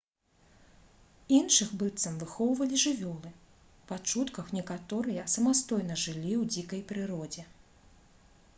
іншых быццам выхоўвалі жывёлы па чутках некаторыя самастойна жылі ў дзікай прыродзе